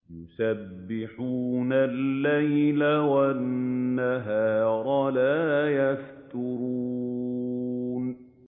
يُسَبِّحُونَ اللَّيْلَ وَالنَّهَارَ لَا يَفْتُرُونَ